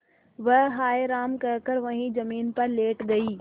वह हाय राम कहकर वहीं जमीन पर लेट गई